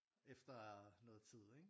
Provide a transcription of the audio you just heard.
Efter noget tid ikke